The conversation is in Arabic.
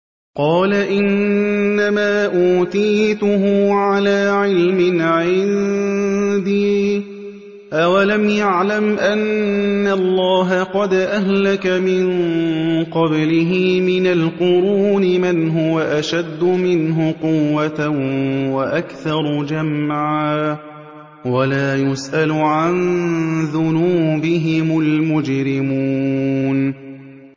قَالَ إِنَّمَا أُوتِيتُهُ عَلَىٰ عِلْمٍ عِندِي ۚ أَوَلَمْ يَعْلَمْ أَنَّ اللَّهَ قَدْ أَهْلَكَ مِن قَبْلِهِ مِنَ الْقُرُونِ مَنْ هُوَ أَشَدُّ مِنْهُ قُوَّةً وَأَكْثَرُ جَمْعًا ۚ وَلَا يُسْأَلُ عَن ذُنُوبِهِمُ الْمُجْرِمُونَ